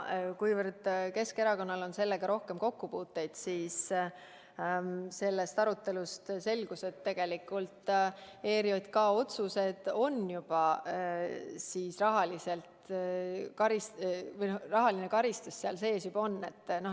Kuivõrd Keskerakonnal on sellega rohkem kokkupuuteid, siis sellest arutelust selgus, et tegelikult ERJK otsused on juba sellised, et rahaline karistus on seal sees.